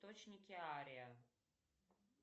точники ария